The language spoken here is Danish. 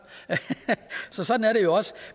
så sådan er det jo også